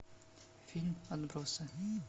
фильм отбросы